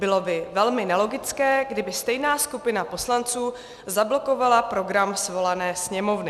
Bylo by velmi nelogické, kdyby stejná skupina poslanců zablokovala program svolané sněmovny.